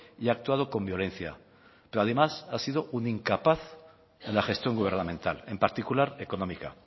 y ha actuado con violencia pero además ha sido un incapaz en la gestión gubernamental en particular económica